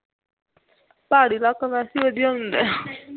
ਪਹਾੜੀ ਇਲਾਕਾ ਵੈਸੇ ਹੀ ਵਧੀਆ ਹੁੰਦਾ ਹੈ